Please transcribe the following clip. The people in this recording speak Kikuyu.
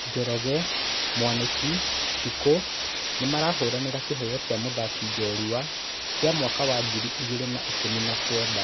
Njoroge, Mwaniki, Shiko nĩmahũranĩra kiheo kĩa mũthaki jorua kĩa mwaka wa ngiri igĩrĩ na ikũmi na kenda.